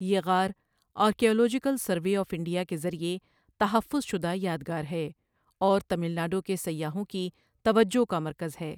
یہ غار archaeological survey of India کے ذریعے تحفظ شدہ یادگار ہے اور تمل ناڈو کے سیاحوں کی توجہ کا مرکز ہے۔